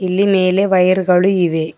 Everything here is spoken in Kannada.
ಇಲ್ಲಿ ಮೇಲೆ ವೈರ್ ಗಳು ಇವೆ.